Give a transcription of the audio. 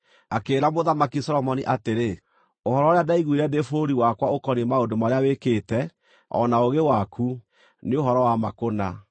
Akĩĩra Mũthamaki Solomoni atĩrĩ, “Ũhoro ũrĩa ndaiguire ndĩ bũrũri wakwa ũkoniĩ maũndũ marĩa wĩkĩte, o na ũũgĩ waku, nĩ ũhoro wa ma kũna.